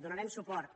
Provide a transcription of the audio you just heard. donarem suport